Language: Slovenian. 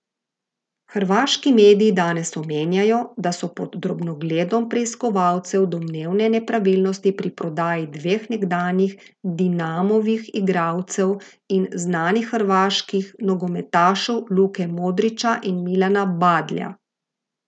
Hrvaški mediji danes omenjajo, da so pod drobnogledom preiskovalcev domnevne nepravilnosti pri prodaji dveh nekdanjih Dinamovih igralcev in znanih hrvaških nogometašev Luke Modrića in Milana Badlja.